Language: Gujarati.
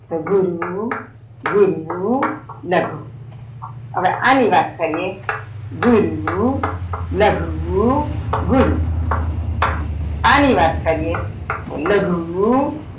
તો ગુરુ ગુરુ લઘુ હવે અણી વાત કરીએ ગુરુ લઘુ ગુરુ અની વાત કરીએ લઘુ.